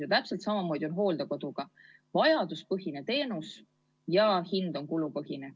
Ja täpselt samamoodi on hooldekoduga: vajaduspõhine teenus ja kulupõhine hind.